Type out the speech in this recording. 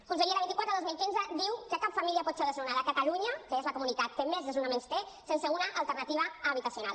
conseller la vint quatre dos mil quinze diu que cap família pot ser desnonada a catalunya que és la comunitat que més desnonaments té sense una alternativa habitacional